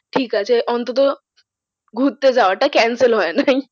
ঠিক আছে অন্তত ঘুরতে যাওয়াটা cancel হয় নাই।